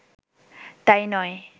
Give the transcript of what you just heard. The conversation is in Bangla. তাই নয়